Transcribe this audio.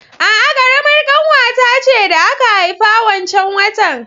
A'a, ƙaramar ƙanwata ce da aka haifa wancan watan